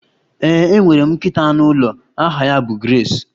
Ee, enwere m nkịta anụ ụlọ aha ya bụ Grace